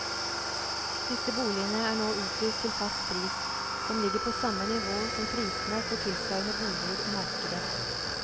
Disse boligene er nå utlyst til fast pris, som ligger på samme nivå som prisene for tilsvarende boliger i markedet.